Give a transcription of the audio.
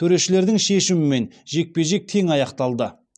төрешілердің шешімімен жекпе жек тең аяқталды